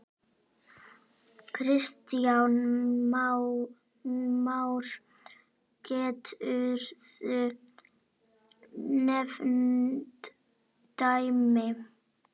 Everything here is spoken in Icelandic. Kristján Már: Geturðu nefnt dæmi?